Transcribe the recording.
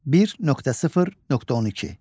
1.0.12.